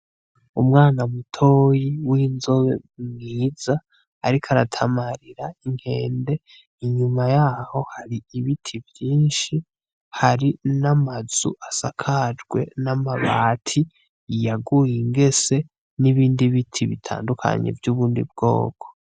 Umwana mutoyi w'inzobe mwiza ariko aratamarira inkende, inyuma yaho hari ibiti vyinshi hari n'amazu asakajwe n'amabati yaguye ingese nibindi biti bitandukanye vyubundi bwoko.